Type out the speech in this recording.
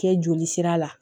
Kɛ joli sira la